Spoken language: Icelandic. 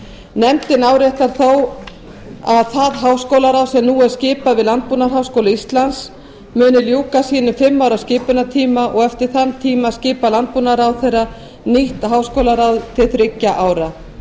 nefndin áréttar þó að það háskólaráð sem nú er skipað við landbúnaðarháskóla íslands mun ljúka sínum fimm ára skipunartíma og eftir þann tíma skipar landbúnaðarráðherra nýtt háskólaráð til þriggja ára